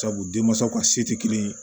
Sabu denmansaw ka se tɛ kelen ye